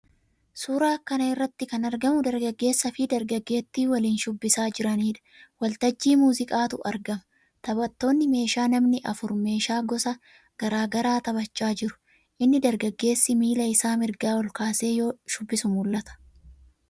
Suuraa kana irratti kan argamu dargaggeessaafi dargaggeettii waliin shubbisaa jiraniidha. Waltajjii muuziqaatu argama. Taphattoonni meeshaa namni afur meeshaa gosa garaa garaa taphachaa jiru. Inni dargaggeessaa miila isaa mirgaa ol kaasee yoo shubbisu mul'ata.